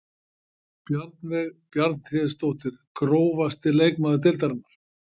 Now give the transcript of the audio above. Bjarnveig Bjarnhéðinsdóttir Grófasti leikmaður deildarinnar?